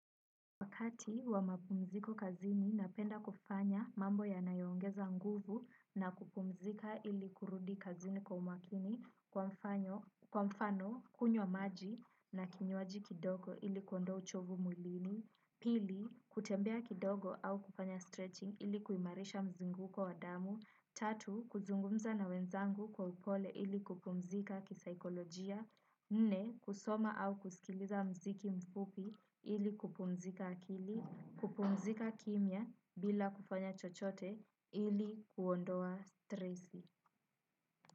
Wakati wa mapumziko kazini napenda kufanya mambo ya nayoongeza nguvu na kupumzika ili kurudi kazini kwa umakini kwa mfano kunywa maji na kinywaji kidogo ili kuondoa uchovu mwilini. Pili, kutembea kidogo au kufanya stretching ili kuimarisha mzunguko wadamu. Tatu, kuzungumza na wenzangu kwa upole ili kupumzika kisaikolojia nne kusoma au kusikliza mziki mfupi ili kupumzika akili, kupumzika kimia bila kufanya chochote ili kuondoa strezi.